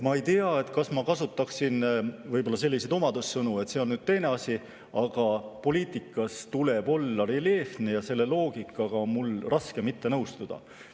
Ma ei tea, kas ma kasutaksin selliseid omadussõnu, see on nüüd teine asi, aga poliitikas tuleb olla reljeefne ja selle loogikaga on mul raske mitte nõustuda.